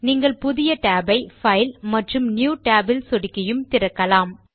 நீங்கள் புதிய tab ஐ பைல் மற்றும் நியூ Tab இல் சொடுக்கியும் திறக்கலாம்